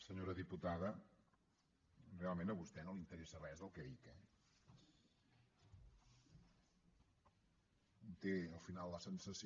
senyora diputada realment a vostè no l’interessa res del que dic eh un té al final la sensació